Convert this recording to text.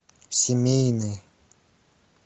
семейный